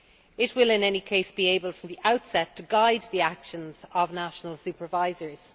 It will in any case be able from the outset to guide the actions of national supervisors.